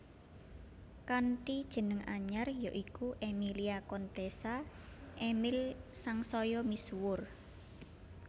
Kanthi jeneng anyar ya iku Emilia Contessa Emil sangsaya misuwur